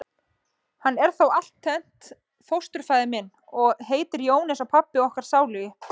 Hann er þó altént fósturfaðir minn. og heitir Jón eins og pabbi okkar sálugi.